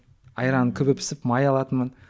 айран күбі пісіп май алатынмын